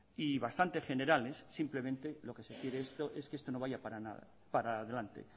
y bastante generales simplemente lo que se quiere es que esto no vaya para adelante